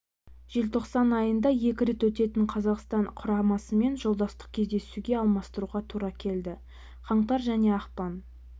желтоқсан айында екі рет өтетін қазақстан құрамасымен жолдастық кездесуге алмастыруға тура келді қаңтар және ақпан